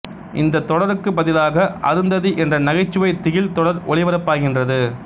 இந்த தொடருக்கு பதிலாக அருந்ததி என்ற நகைச்சுவை திகில் தொடர் ஒளிபரப்பாகின்றது